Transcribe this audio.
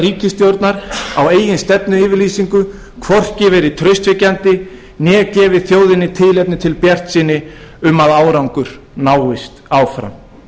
ríkisstjórnar á eigin stefnuyfirlýsingu hvorki verið traustvekjandi né gefið þjóðinni tilefni til bjartsýni um að árangur náist áfram